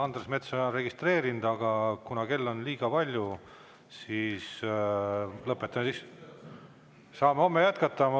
Andres Metsoja on registreeritud, aga kuna kell on liiga palju, siis saame jätkata homme.